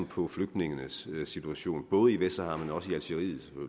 på flygtningenes situation både i vestsahara